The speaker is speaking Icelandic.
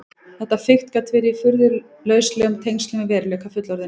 Þetta fikt gat verið í furðu lauslegum tengslum við veruleika fullorðinna.